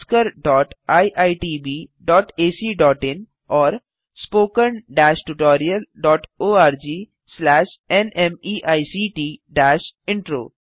oscariitbacइन और spoken tutorialorgnmeict intro